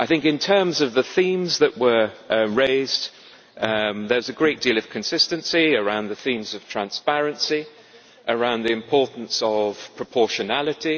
In terms of the themes that were raised, there is a great deal of consistency around the themes of transparency and the importance of proportionality.